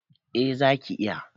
A zaki iya